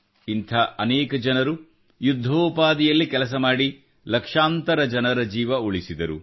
ಇಂಥ ಅನೇಕ ಜನರು ಯುದ್ಧೋಪಾದಿಯಲ್ಲಿ ಕೆಲಸ ಮಾಡಿ ಲಕ್ಷಾಂತರ ಜನರ ಜೀವನ ಉಳಿಸಿದರು